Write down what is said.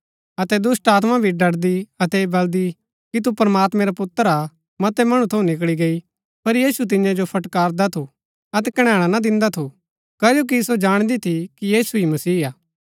अतै दुष्‍टात्मा भी डडदी अतै ऐह बल्‍दी कि तू प्रमात्मैं रा पुत्र हा मतै मणु थऊँ निकळी गैई पर यीशु तियां जो फटकारदा थू अतै कणैणा ना दिन्दा थू कजो कि सो जाणदी थी कि यीशु ही मसीह हा